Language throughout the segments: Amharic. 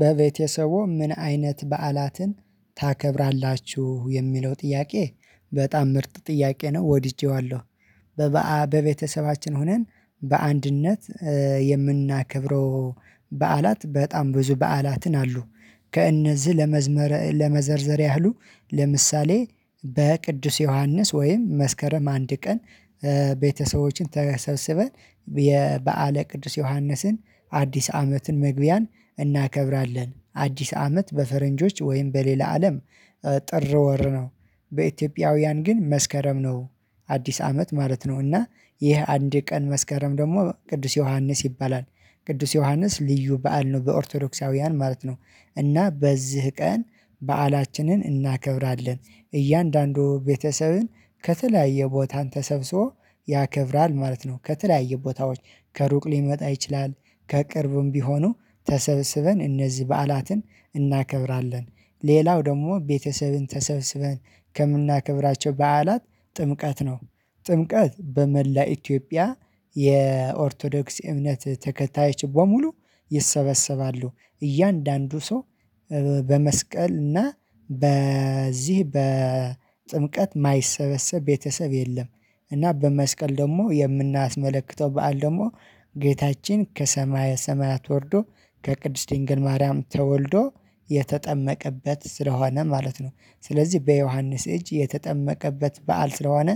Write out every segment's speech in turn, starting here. በቤተሰቡ ምን አይነት በዓላትን ታከብራላችሁ የሚለው ጥያቄ በጣም ምርጥ ጥያቄ ነው? ወድጄዋለሁ። በቤተሰባችን ሆነን በአንድነት የምናከብረው በዓላት በጣም ብዙ በዓላትን አሉ። ከእነዚህ ለመዝመር ለመዘርዘር ያህሉ ለምሳሌ በቅዱስ ዮሐንስ ወይም መስከረም አንድ ቀን ቤተሰቦችን ተሰብስበን የበአለ ቅዱስ ዮሐንስን አዲስ አመትን መግቢያን እናከብራለን። አዲስ አመት በፈረንጆች ወይም በሌላ አለም ጥር ወር ነው በኢትዮጵያውያን ግን መስከረም ነው አዲስ አመት ማለት ነው። እና ይህ አንድ ቀን መስከረም ደግሞ ቅዱስ ዮሐንስ ይባላል ቅዱስ ዮሐንስ ልዩ በዓል ነው በኦርቶዶክሳውያን ማለት ነው። እና በዚህ ቀን በዓላችንን እናከብራለን እያንዳንዱ ቤተሰብን ከተለያየ ቦታ ተሰብስቦ ያከብራል ማለት ነው። ከተለያዩ ቦታዎች ከሩቅ ሊመጣ ይችላል ከቅርብም ቢሆኑ ተሰብስበን እነዚህ በዓላትን እናከብራለን። ሌላው ደግሞ ቤተሰብን ተሰብስበን ከምናከብራቸው በዓላት ጥምቀት ነው። ጥምቀት በመላ ኢትዮጵያ የኦርቶዶክስ እምነት ተከታይ ችግር በሙሉ ይሰበሰባሉ። እያንዳንዱ ሰው በመስቀል እና በዚህ በጥምቀት የማይሰበሰብ ቤተሰብ የለም። እና በመስቀል ደግሞ የምናስመልክተው በዓል ደግሞ ጌታችን ከሰማየ ሰማያት ወርዶ ከቅድስት ድንግል ማርያም ተወልዶ የተጠመቀበት ስለሆነ ማለት ነው። ስለዚህ በዮሐንስ እጅ የተጠመቀበት በዓል ስለሆነ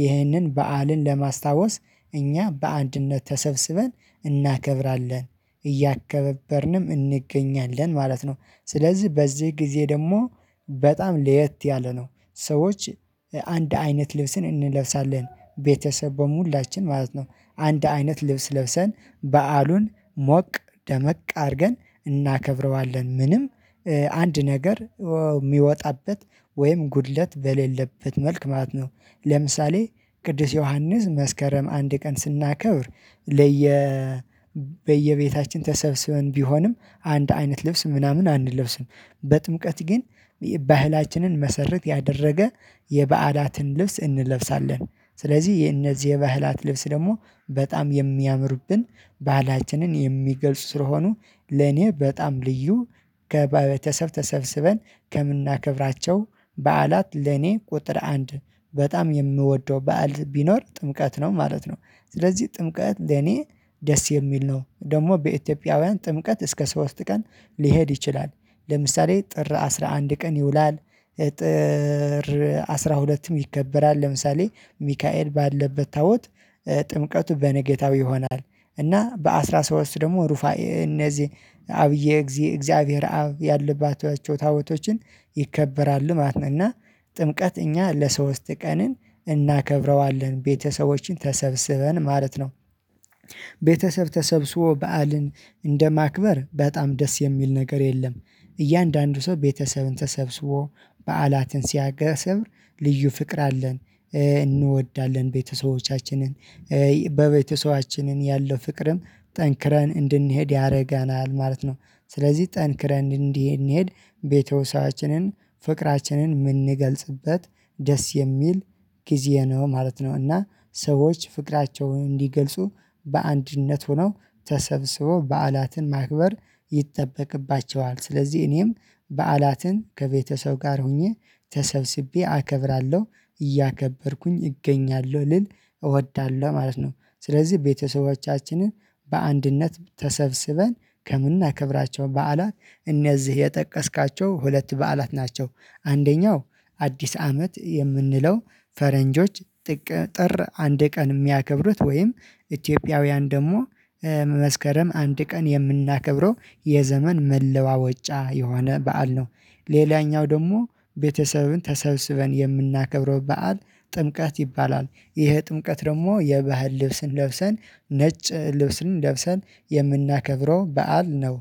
ይህንን በዓልን ለማስታወስ እኛ በአንድነት ተሰብስበን እናከብራለን እያከበበርንም እንገኛለን ማለት ነው። ስለዚህ በዚህ ጊዜ ደግሞ በጣም ለየት ያለ ነው ሰዎች አንድ አይነት ልብስን እንለብሳለን ቤተሰብ በሙላችን ማለት ነው። አንድ አይነት ልብስ ለብሰን በዓሉን ሞቅ ደመቅ አድርገን እናከብረዋለን። ምንም አንድ ነገር የሚወጣበት ወይም ጉድለት በሌለበት መልክ ማለት ነው። ለምሳሌ ቅዱስ ዮሐንስ መስከረም አንድ ቀን ስናከብር ለየ በየቤታችን ተሰብስበን ቢሆንም አንድ አይነት ልብስ ምናምን አንለብስም። በጥምቀት ግን ባህላችንን መሰረት ያደረገ የባዕላትን ልብስ እንለብሳለን። ስለዚህ የነዚህ የባህላት ልብስ ደግሞ በጣም የሚያምርብን ባህላችንን የሚገልጹ ስለሆኑ ለኔ በጣም ልዩ ከበተሰብ ተሰብስበን ከምናከብራቸው በዓላት ለኔ ቁጥር አንድ በጣም የምወደው በዓል ቢኖር ጥምቀት ነው ማለት ነው። ስለዚህ ጥምቀት እኔ ደስ የሚል ነው ደግሞ በኢትዮጵያውያን ጥምቀት እስከ ሶስት ቀን ሊሄድ ይችላል። ለምሳሌ ጥር አስራ አንድ ቀን ይውላል። ጥር አስራ ሁለትም ይከበራል ለምሳሌ ሚካኤል ባለበት ታቦት ጥምቀቱ በነጋታው ይሆናል። እና በአስራ ሶስት ደግሞ ሩፋኤ እነዚህ አብዬ እግዚአብሔር አብ ያለባቸው ታቦቶችን ይከበራል ማለት ነው። እና ጥምቀት እኛ ለሶስት ቀንን እናከብረዋለን ቤተሰቦችን ተሰብስበን ማለት ነው። ቤተሰብ ተሰብስቦ በዓልን እንደማክበር በጣም ደስ የሚል ነገር የለም። እያንዳንዱ ሰው ቤተሰብን ተሰብስቦ በዓላትን ሲያገስም ልዩ ፍቅር አለን። እንወዳለን ቤተሰቦቻችንን በቤተሰባችንን ያለው ፍቅርም ጠንክረን እንድንሄድ ያደርገናል ማለት ነው። ስለዚህ ጠንክረን እንዲህ እንሂድ ቤተሰባችንን ፍቅራችንን የምንገልጽበት ደስ የሚል ጊዜ ነው ማለት ነው። እና ሰዎች ፍቅራቸውን እንዲገልጹ በአንድነት ሆነው ተሰብስበው በዓላትን ማክበር ይጠበቅባቸዋል ስለዚህ እኔም በዓላትን ከቤተሰብ ጋር ሆኜ ተሰብስቤ አከብራለሁ እያከበርኩኝ እገኛለሁ ልል እወዳለሁ ማለት ነው። ስለዚህ ቤተሰቦቻችንን በአንድነት ተሰብስበን ከምናከብራቸው በዓላት እነዚህ የጠቀስካቸው ሁለት በዓላት ናቸው። አንደኛው አዲስ አመት የምንለው ፈረንጆች ጥር አንድ ቀን የሚያከብሩት ወይም ኢትዮጵያውያን ደግሞ መስከረም አንድ ቀን የምናከብረው የዘመን መለዋወጫ የሆነ በዓል ነው። ሌላኛው ደግሞ ቤተሰብን ተሰብስበን የምናከብረው በዓል ጥምቀት ይባላል። ይሄ ጥምቀት ደግሞ የባህል ልብስን ለብሰን ነጭ ልብስን ለብሰን የምናከብረው በዓል ነው